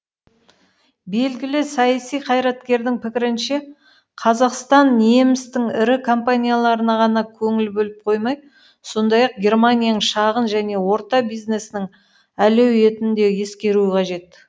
белгілі саяси қайраткердің пікірінше қазақстан немістің ірі компанияларына ғана көңіл бөліп қоймай сондай ақ германияның шағын және орта бизнесінің әлеуетін де ескеруі қажет